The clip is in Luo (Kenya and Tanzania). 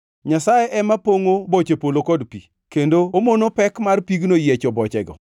Nyasaye ema pongʼo boche polo kod pi, kendo omono pek mar pigno yiecho bochego.